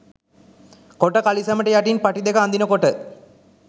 කොට කලිසමට යටින් පටි දෙක අදිනකොට.